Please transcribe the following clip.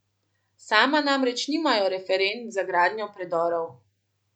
Sama namreč nimajo referenc za gradnjo predorov.